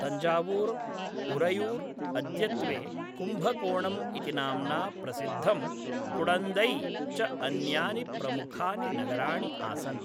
तञ्जावूर्, उरैयूर्, अद्यत्वे कुम्बकोणम् इति नाम्ना प्रसिद्धं कुडन्दै च अन्यानि प्रमुखानि नगराणि आसन्।